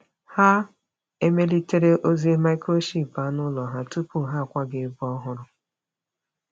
Ha emelitere ozi microchip anụ ụlọ ha tupu ha akwaga ebe ọhụrụ.